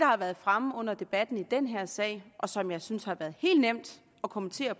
har været fremme under debatten i den her sag og som jeg synes det har været helt nemt at kommentere